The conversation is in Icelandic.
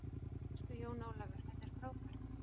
Elsku Jón Ólafur, þetta er frábært.